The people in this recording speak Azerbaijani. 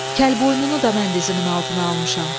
Kəlboynunu da mən dizimin altına almışam.